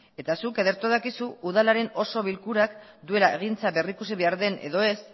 eta zuk ederto dakizu udalaren oso bilkurak duela egintza berrikusi behar den edo ez